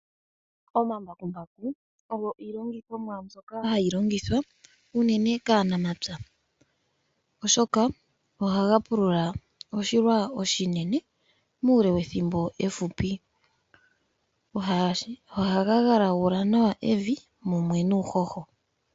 Omambakumbaku ogo iilongithonwa mbyoka hayi longithwa kaanafalama uunene kaanamapya ishoka ohaga pulula oshilwa oshinene muule wethimbob efupi ohaga galagula nawa evi mumwe nuuhoho.